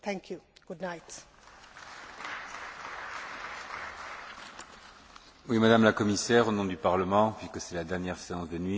Madame la Commissaire, au nom du Parlement, vu que c'est la dernière séance de nuit, croyez bien que nous avons été très sensibles à l'excellence de nos rapports pendant toute cette législature.